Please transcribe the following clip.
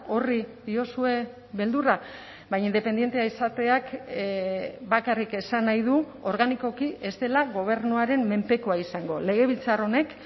horri diozue beldurra baina independentea izateak bakarrik esan nahi du organikoki ez dela gobernuaren menpekoa izango legebiltzar honek